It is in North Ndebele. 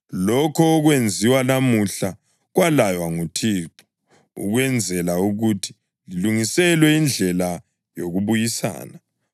Lokho okwenziwa namuhla kwalaywa nguThixo ukwenzela ukuthi lilungiselwe indlela yokubuyisana.